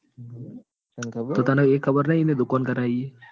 તન ખબર તને એ ખબર નઈ એને દુકાન કરાઈ એ?